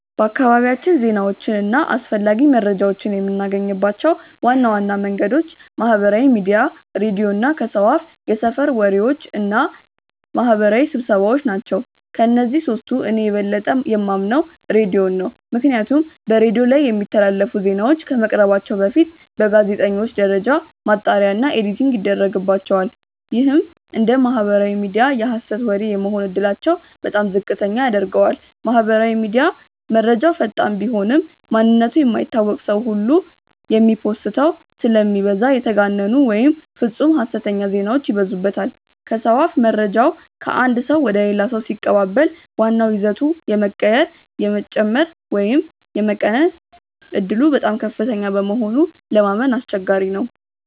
በአካባቢያችን ዜናዎችን እና አስፈላጊ መረጃዎችን የምናገኝባቸው ዋና ዋና መንገዶች ማህበራዊ ሚዲያ፣ ሬዲዮ እና ከሰው አፍየሰፈር ወሬዎች እና ማህበራዊ ስብሰባዎ ናቸው። ከእነዚህ ሶስቱ እኔ የበለጠ የማምነው ሬዲዮን ነው። ምክንያቱም በሬዲዮ ላይ የሚተላለፉ ዜናዎች ከመቅረባቸው በፊት በጋዜጠኞች ደረጃ ማጣሪያ እና ኤዲቲንግ ይደረግባቸዋል። ይህም እንደ ማህበራዊ ሚዲያ የሀሰት ወሬ የመሆን እድላቸውን በጣም ዝቅተኛ ያደርገዋል። ማህበራዊ ሚዲያ፦ መረጃው ፈጣን ቢሆንም፣ ማንነቱ የማይታወቅ ሰው ሁሉ የሚโพስተው ስለሚበዛ የተጋነኑ ወይም ፍፁም ሀሰተኛ ዜናዎች ይበዙበታል። ከሰው አፍ፦ መረጃው ከአንድ ሰው ወደ ሌላ ሰው ሲቀባበል ዋናው ይዘቱ የመቀየር፣ የመጨመር ወይም የመቀነስ ዕድሉ በጣም ከፍተኛ በመሆኑ ለማመን አስቸጋሪ ነው።